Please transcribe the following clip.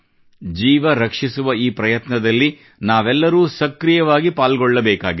ಜೀವ ರಕ್ಷಿಸುವ ಈ ಪ್ರಯತ್ನದಲ್ಲಿ ನಾವೆಲ್ಲರೂ ಸಕ್ರಿಯವಾಗಿ ಪಾಲ್ಗೊಳ್ಳಬೇಕಾಗಿದೆ